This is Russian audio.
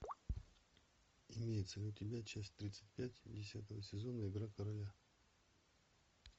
имеется ли у тебя часть тридцать пять десятого сезона игра короля